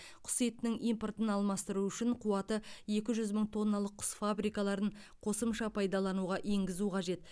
құс етінің импортын алмастыру үшін қуаты екі жүз мың тонналық құс фабрикаларын қосымша пайдалануға енгізу қажет